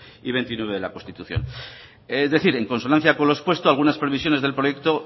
y veintinueve de la constitución es decir en consonancia con los expuesto algunas previsiones del proyecto